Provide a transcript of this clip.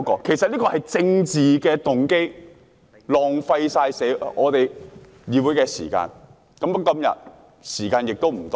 其實這是出於政治動機，浪費我們議會的時間。